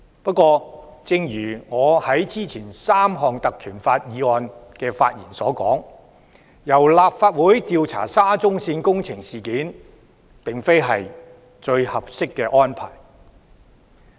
不過，正如我之前就3項根據《條例》動議的議案發言時所說，由立法會調查沙中線事件並非最合適的安排。